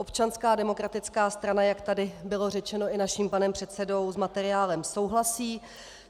Občanská demokratická strana, jak tady bylo řečeno i naším panem předsedou, s materiálem souhlasí.